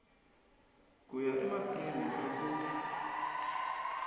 ku ya emahlweni ka ku